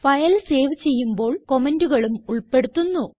file save ചെയ്യുമ്പോൾ കമന്റുകളും ഉൾപ്പെടുത്തുന്നു